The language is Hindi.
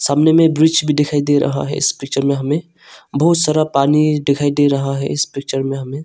सामने में ब्रिज भी दिखाई दे रहा है इस पिक्चर में हमें बहुत सारा पानी दिखाई दे रहा है इस पिक्चर में हमें।